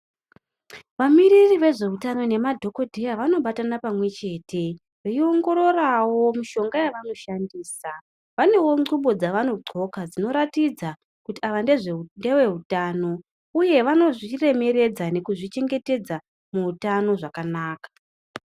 Vamiriri vezveutano nemadhokodheya vanobatana pamwe chete veiongororawo mishonga yevanoshandisa .Vanewo ngumbo dzevanodhloka dzinoratidza kuti ava ngeve utano uye vanozvi remeredza nekuzvi chengetedza muutano zvakanaka.